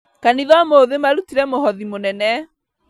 Kanitha ũmũthĩ marutire mũhothi mũnene